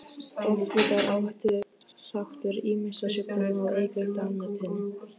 Offita er áhættuþáttur ýmissa sjúkdóma og eykur dánartíðni.